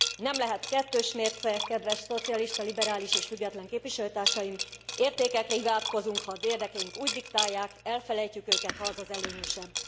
Nem lehet kettős mérce, kedves szocialista, liberális és független képviselőtársaim értékekre hivatkozunk, ha az érdekeink úgy diktálják, elfelejtjük őket, ha az az előnyösebb.